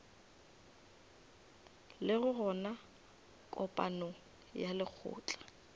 lego gona kopanong ya lekgotla